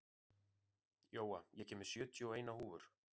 Jóa, ég kom með sjötíu og eina húfur!